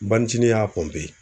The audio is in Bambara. N banicini y'a